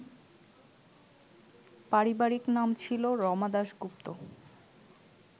পারিবারিক নাম ছিল রমা দাশগুপ্ত